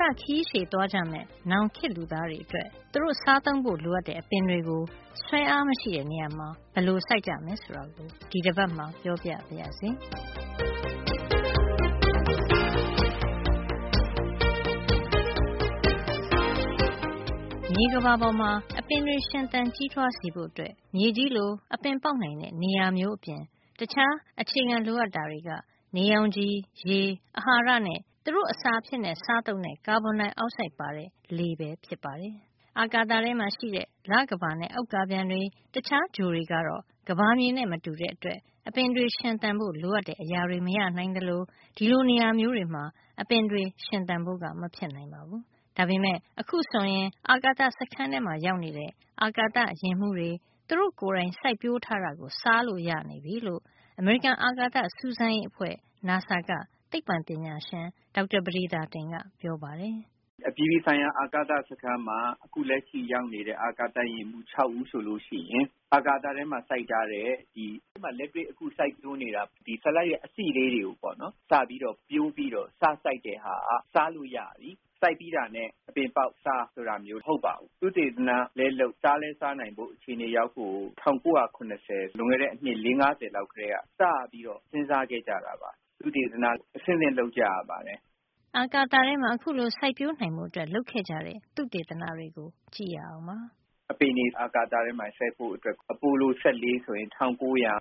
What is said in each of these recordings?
သခရီးရှည်သွားကြမယ့် နောင်ခေတ်လူသားတွေ အတွက် သူတို့စားသုံးဖို့ လိုတဲ့ အပင်တွေကို ဆွဲငင်အား မရှိတဲ့ နေရာမှာ ဘယ်လိုစိုက်ကြမယ် ဆိုတာကို ဒီတပတ်မှာ ပြောပြပါရစေ။ မြေကမ္ဘာပေါ်မှာ အပင်တွေရှင်သန်ကြီးထွားစေဖို့ မြေကြီးလို အပင်ပေါက်နိုင်တဲ့ နေရာမျိုးအပြင် တခြားအခြေခံ လိုအပ်တာတွေက နေရောင်ခြည်၊ ရေ၊ အဟာရဓါတ်နဲ့ သူတို့အစာအဖြစ် စားသုံးတဲ့ ကာဗွန်ဒိုင်အောက်ဆိုက်ပါတဲ့ လေပဲ ဖြစ်ပါတယ်။ အာကာသထဲမှာရှိတဲ့ လကမ္ဘာနဲ့ ဥက္ကာပျံတွေ၊ တခြား ဂြိုဟ်တွေကတော့ ကမ္ဘာမြေနဲ့ မတူတဲ့အတွက် အပင်တွေ ရှင်သန်ဖို့ လိုအပ်တဲ့ အရာတွေ မရနိုင်သလို ဒီလို နေရာမျိုးတွေမှာ အပင်တွေရှင်သန်ဖို့က မဖြစ်နိုင်ပါဘူး။ ဒါပေမယ့် အခုဆိုရင် အာကာသစခန်းထဲမှာ ရောက်နေတဲ့ အာကာသယာဉ်မှူးဖတွ သူတို့ ကိုယ်တိုင် စိုက်ပျိုးထားတာကို စားလို့ရနေပြီလို့ အမေရိကန်အာကာသစူးစမ်းရေးအဖွဲ့ NASA က သိပ္ပံပညာရှင် ဒေါက်တာပဒေသာတင်က ပြောပါတယ်။ ဒေါက်တာပဒေသာတင်။ ။ “အပြည်ပြည်ဆိုင်ရာ အာကာသစခန်းမှာ အခု လက်ရှိ ရောက်နေတဲ့ အာကာသယာဉ်မှူး ၆ ဦးဆိုလို့ရှိရင် အာကာသထဲမှာ လက်တွေ့စိုက်ပျိုး နေတဲ့ ဆလပ်ရွက် အစေ့လေးတွေ ကိုစပြီး ပျိုးပြီးတော့ စစိုက်တာက စားလို့ရပြီ။ စိုက်ပြီးတာနဲ့ အပင်ပေါက်စား ဆိုတာမျိုး မဟုတ်ပါဘူး။ သုတေသနလည်းလုပ်၊ စားလည်းစားနိုင်ဖို့ အခြေနေရောက်ဖို့ိကို ၁၉၇၀ လွန်ခဲ့တဲ့ အနှစ် ၄- ၅၀ လောက် ကတည်းက စပြီးတော့ စဉ်းစားခဲ့ကြတာပါ။ သုတေသန အဆင့်ဆင့် လုပ်ကြရပါတယ်။“ အာကာသထဲ အခုလို စိုက်ပျိုးနိုင်ဖို့ လုပ်ခဲ့ကြတဲ့ သုတေသနတွေကို ကြည့်ရအောင်ပါ။ ဒေါက်တာပဒေသာတင်။ ။ “အပင်တွေ အာကာသထဲမှာ စိုက်ဖို့ဆိုရင် အပိုလို ၁၄ ဆိုရင် ၁၉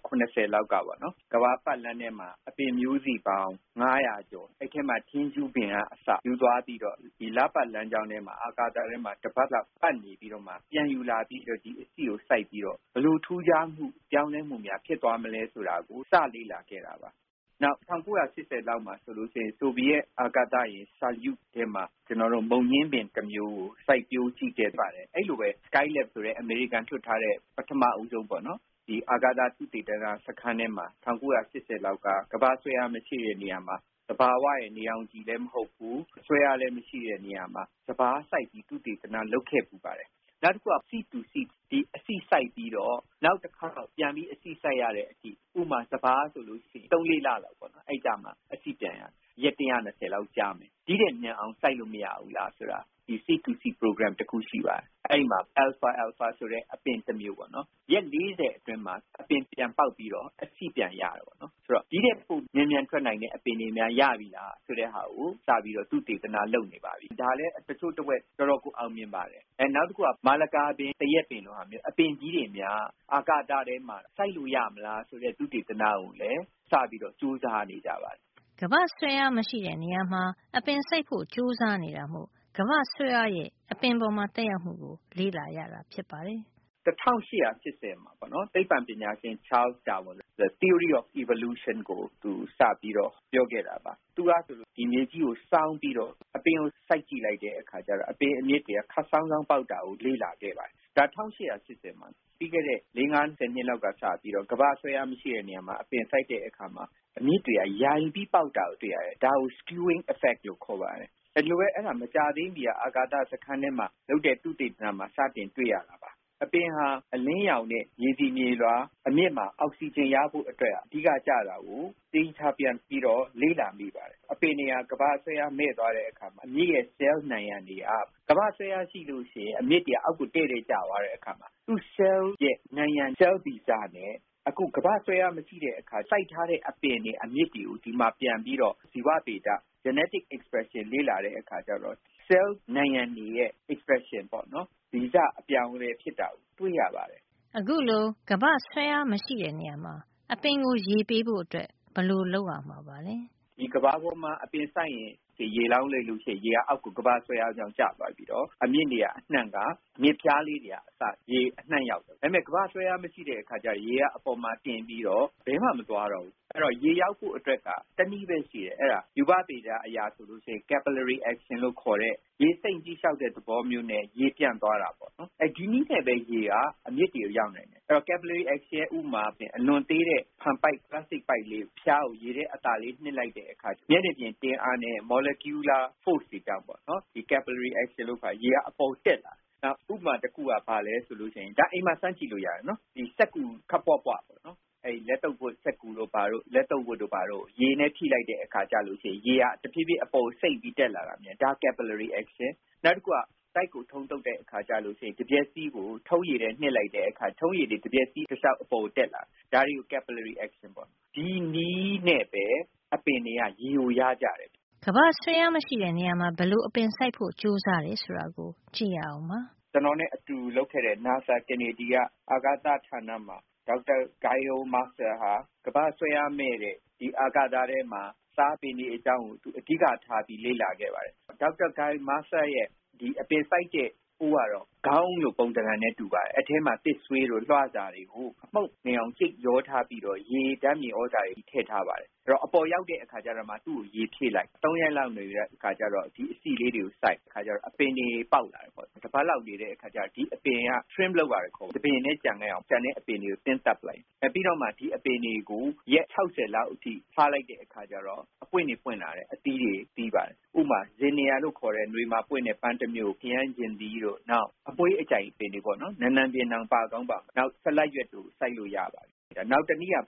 ၇၀ လောက်ကပေါ့နော်။ ကမ္ဘာပတ်လမ်းထဲမှာ အပင်မျိုးစေ့ပေါင်း ၅၀၀ ကို အဲဒီအထဲမှာ ထင်းရှူးပင်က အစ ယူသွားပြီးတော့ ဒီလပတ်လမ်းကြောင်းထဲမှာ၊ အာကာသ ထဲမှာ တပတ်လောက် ပတ်နေပြီးတော့မှာ ပြန်ယူလာပြီး ဒီအစေ့ကို စိုက်ပြီးတော့ ဘယ်လိုထူးခြားမှု၊ ပြောင်းလဲမှုများ ဖြစ်သွားမလဲ ဆိုတာကို စလေ့လာခဲ့တာပါ။ နောက် ၁၉၈၀ လောက်မှာဆို ဆိုဗီယက်အာကာသယာဉ် ဆိုယုစ် ထဲမှာ မုန်ညင်းပင် တမျိုးကို စိုက်ပျိုး ကြည့်ခဲ့ဘူးပါတယ်။ အဲဒီလိုပဲ Skylab ဆိုတဲ့ အမေရိကန်က လွှတ်ထား တဲ့ ပထမဦးဆုံး အာကာသ သုတေသန စခန်းထဲမှာ ၁၉၈၀ လောက်က ကမ္ဘာ့ဆွဲအား မရှိတဲ့နေရာမှာ သဘာဝရဲ့ နေရောင်ခြည်လည်း မဟုတ်ဘူး။ ဆွဲအားလည်း မရှိတဲ့ နေရာမှာ စပါးစိုက်ရေး သုတေသန လုပ်ခဲ့ပါတယ်။ နောက်တခုက seed to seed ဆိုတဲ့ အစေ့စိုက်ပြီး နောက်တခေါက် ပြန်ပြီး အစေ့စိုက်ရတဲ့အထိ - ဥပမာ စပါးဆိုရင် ၃-၄ လလောက်မှာ အစေ့ပြန်ရတယ်။ ရက် ၁၂၀ လောက်ကြာမယ်။ ဒီ့ထက် မြန်အောင် စိုက်လို့ မရဘူးလား၊ လေ့လာတဲ့ seed to seed အစီအစဉ် တခု ရှိပါတယ်။ အဲဒီမှာ အယ်လ်ဖာ- အယ်လ်ဖာ ဆိုတဲ့ အပင် တမျိုးကို ရက် ၄၀ အတွင်းမှာ အပင်ပြန် ပေါက်ပြီးတော့ အစေ့ပြန်ရတာပေါ့နော်။ ဆိုတော့ ဒီ့ထက်ပို မြန်မြန်ထွက်နိုင်တဲ့ အပင်တွေများ ရပြီလား။ ဆိုတာကို စပြီးတော့ သုတေသနလုပ်နေပါပြီ။ ဒါလည်း တချို့တဝက် တော်တော်ကို အောင်မြင်နေပါပြီ။ နောက်တခုက မာလကာပင်၊ သရက်ပင်လိုမျိုး အပင်ကြီးတွေများ အာကာသထဲမှာ စိုက်လို့ ရမလား ဆိုတဲ့ သုတေသနကိုလည်း စပြီးကြိုးစားနေပါပြီ။” ကမ္ဘာ့ဆွဲအားမရှိတဲ့နေရာမှာ အပင်စိုက်ဖို့ ကြိုးစားနေတာမို့ ကမ္ဘာ့ဆွဲအားရဲ့ အပင်အပေါ် သက်ရောက်မှုကို လေ့လာရတာ ဖြစ်ပါတယ်။ ဒေါက်တာပဒေသာတင်။ ။ “၁၈၈၀ ပေါ့နော် သိပ္ပံပညာရှင် Charles Darwin ဆိုတာ theory of evolution ကိုသူ စပြီးတော့ပြောခဲ့တာပါ။ သူကဆိုရင် မြေကြီးကို စောင်း ပြီးတော့ အပင်ကို စိုက်ကြည့်လိုက်တဲ့အခါကျတော့ အပင်အမြစ်တွေက ခပ်စောင်း စောင်း ပေါက်တာကို လေ့လာခဲ့ ပါတယ်။ ဒါက ၁၈၈၀ တုန်းက။ ပြီးခဲ့တဲ့ ၄- ၅ ဆယ် နှစ်လောက်က စပြီးတော့ ကမ္ဘာ့ဆွဲအား မရှိတဲ့ နေရာမှာ အပင်စိုက်တဲ့အခါမှာ အမြစ်တွေက ယိုင်ပြီးပေါက်တာကို တွေ့ရတယ်။ ဒါကို skewing effect လို့ခေါ်ပါတယ်။ မကြာသေးခင်က အာကာသစခန်းထဲမှာ လုပ်တဲ့ သုတေသနမှာ စပြီးတွေ့ရမှာပါ။ အပင်ဟာ အလင်းရောင်နဲ့ မြေဆီမြေလွှာ အပြင်အမြစ်မှာ အောက်ဆီဂျင်ရဖို့ ကိစ္စဟာ အဓိကကျတာကို ပြန်ပြီးတော့ လေ့လာနေပါတယ်။ အပင်တွေဟာ ကမ္ဘာ့ဆွဲအား မဲ့ သွားတဲ့အခါမှာ အမြစ်ရဲ့ ဆဲလ် နံရံတွေဟာ ကမ္ဘာ့ဆွဲအားရှိရင် အမြစ်တွေက အောက် ကို တည့်တည့်ကျသွားတဲ့အခါ သူ့ဆဲလ်ရဲ့ နံရံက ဆဲလ်ဗီဇနဲ့ အခုကမ္ဘာ့ဆွဲအား မရှိတဲ့ အခါ စိုက်တဲ့ အပင်တွေ အမြစ်တွေကို ဒီမှာ ပြန်ပြီးတော့ ဇီဝဗေဒ genetic expression လေ့လာတဲ့အခါကျတော့ ဆဲလ် နံရံ တွေရဲ့ expression က ဗီဇအပြောင်းအလဲ ဖြစ်တာကို တွေ့ရပါတယ်။” အခုလို ကမ္ဘာ့ဆွဲအားမရှိတဲ့ နေရာမှာ အပင်ကို ရေပေးဖို့ ဘယ်လို လုပ်ရမှာပါလဲ။ ဒေါက်တာပဒေသာတင်။ ။ “ကမ္ဘာပေါ်မှာ အပင်စိုက်လို့ ရေလောင်းလိုက်ရင် ရေက သူ့ဟာသူ အောက်ကို ကမ္ဘာ့ဆွဲအားကြောင့် ကျသွားပြီးတော့ အမြစ်နေရာအနှံ့က အမြစ်ဖျားလေးတွေအထိ ရေအနှံ့ရောက်တယ်။ ဒါပေမယ့်ကမ္ဘာ့ဆွဲအား မရှိတဲ့ အခါကျတော့ ရေက အပေါ်မှာ တင်ပြီးတော့ ဘယ်မှ မသွားတော့ဘူး။ အဲဒီတော့ ရေရဖို့အတွက်က တနည်းပဲ ရှိတယ်။ အဲဒါ ရူပဗေဒအရ ဆိုရင် capillary action လို့ခေါ်တဲ့ ရေစိမ့်လျှောက်တဲ့ သဘောမျိုးနဲ့ ရေပြန့်သွားတာပေါ့နော်။ ဒီနည်းနဲ့ပဲ ရေဟာ အမြစ်တွေဆီ ရောက်တယ်။ capillary action အတွက် ဥပမာကို ကြည့်ရင် အလွန်သေးတဲ့ ပိုက်ကလေးရဲ့ အဖျားကို ရေထဲ အသာလေး နှစ်လိုက်ရင် မျက်နှာပြင် တင်းအားနဲ့ molecular force တွေကြောင့် ရေက အပေါ်ကို တက်လာတယ်။ နောက် ဥပမာ တခုက အိမ်မှာ စမ်းကြည့်လို့ ရပါတယ်။ စက္ကူခပ်ပွပွ ကို ရေနဲ့ ထိလိုက်တဲ့အခါ ရေက တဖြေးဖြေး အပေါ်ကို စိမ့်ပြီး တက်လာတယ်။ နောက်တခုက တိုက်ကို ထုံးသုတ်တဲ့အခါကျရင် တံမျက်စီးကို ထုံးရည်ထဲ နှစ်လိုက်တဲ့အခါ ထုံးရည်တွေ တံမျက်စည်းတလျှောက် အပေါ်ကို တက်လာတယ်။ ဒါတွေကို capillary action လို့ခေါ်တယ်။ ဒီနည်းနဲ့ပဲ အပင်တွေက ရေကို ရကြတယ်။” ကမ္ဘာ့ဆွဲအားမရှိတဲ့ နေရာမှာ ဘယ်လိုအပင်စိုက်ဖို့ ကြိုးစားတယ်ဆိုတာကို ကြည့်ရအောင်ပါ။ ဒေါက်တာပဒေသာတင်။ ။ “ကျွန်တော်နဲ့ အတူလုပ်ခဲ့တဲ့ နာဆာကနေဒီက အာကာသဌာနမှာ ဒေါက်တာဂိုင်ရိုမာစတာဟာ ကမ္ဘာ့ဆွဲအားမဲ့တဲ့ အာကာသထဲမှာ စားပင်တွေ အကြောင်းကို အဓိက ထားပြီးလေ့လာခဲ့ပါတယ်။ သူ့ရဲ့ အပင်စိုက်တဲ့ အိုးကတော့ ခေါင်းအုံးလိုပုံသဏ္ဍာန်နဲ့ တူပါတယ်။ အဲဒီအထဲမှာ သစ်ဆွေးတို့ လွှစာတို့ မှုန့်နေအောင် ကြိတ်ရောထားပြီးတော့ ဓါတ်မြေသြဇာတွေ ထည့်ထားပါတယ်။ အပေါ်ရောက်တဲ့ အခါကျတော့မှ သူ့ကို ရေဖြည့်လိုက်၊ ၃ ရက်လောက် နေပြီးတဲ့အခါ အစေ့လေးတွေကို စိုက်တော့ အပင်တွေ ပေါက်လာတယ်။ တပတ်လောက် အကြာမှာ trim လုပ်ရတယ်။ တပင်ထဲ ကျန်ခဲ့အောင် ကျန်တဲ့အပင်တွေကို သင်းသတ်ရတယ်။ ပြီးတော့မှ ဒီအပင်တွေကို ရက် ၆၀ လောက်အထိ ထားလိုက်တဲ့အခါ အပွင့်တွေ ပွင့်လာတယ်။ အသီးတွေ သီးပါတယ်။ ပန်းတွေ၊ ခရမ်းချဉ်သီးတို့ အမွှေးအကြိုင်တွေပေါ့ နံနံပင်လို၊ နောက် ဆလပ်ပင်တို့ စိုက်လို့ ရပါတယ်။ နောက်တနည်းက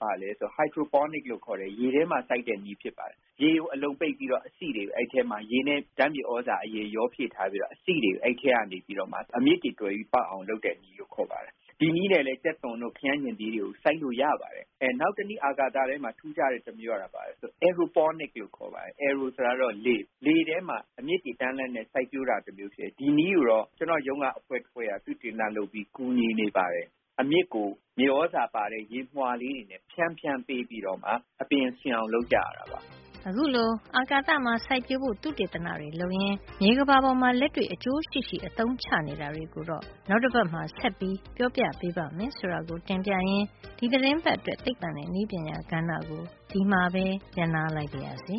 Hydroponics လို့ခေါ်တဲ့ ရေထဲမှာ စိုက်တဲ့နည်း ဖြစ်ပါတယ်။ ရေကို အလုံပိတ်ပြီးတော့ အသီးတွေကိုအဲဒီထဲမှာ ရေနဲ့ ဓါတ်မြေသြဇာရောဖြည့်ထားပြီး အစေ့တွေကို အဲဒီထဲကနေပြီးမှ အမြစ်တွေ တွယ်ပြီး ပေါက်အောင်လုပ်တဲ့နည်း ဖြစ်ပါတယ်။ ဒီနည်းနဲ့လည်း ကြက်သွန်တို့ ခရမ်းချဉ်သီးတို့ စိုက်လို့ရပါတယ်။ နောက်တနည်း အာကာသထဲမှာ ထူးခြားတဲ့နည်းကတော့ aeroponics လို့ခေါ်ပါတယ်။ လေထဲမှာ အမြစ်တွေ တန်းလန်းနဲ့ စိုက်ပျိုးတာမျိုးပါ။ ဒီနည်းကိုတော့ ကျွန်တော့်ရုံးက အဖွဲ့တဖွဲ့က သုတေသနလုပ်ပြီး ကူညီနေပါတယ်။ အမြစ်ကို မြေသြဇာပါတဲ့ ရေမွှာလေးတွေ ဖြန်းဖြန်းပေးပြီးတော့မှ အပင်ရှင်အောင် လုပ်ကြရတာပါ။” အခုလို အာကာသမှာ စိုက်ပျိုးဖို့သုတေသနတွေလုပ်ရင်း မြေကမ္ဘာပေါ်မှာ လက်တွေ့ အကျိုး ရှိရှိ အသုံးချနေတာတွေကို နောက်တပတ်မှာ ဆက်ပြီး ပြောပြပေးပါ့မယ်လို့ တင်ပြရင်း ဒီသီတင်းပတ်အတွက် သိပ္ပံနဲ့နည်းပညာကဏ္ဍကို ဒီမှာပဲ ရပ်နားလိုက်ပါရစေ